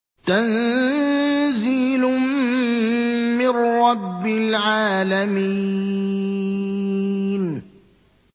تَنزِيلٌ مِّن رَّبِّ الْعَالَمِينَ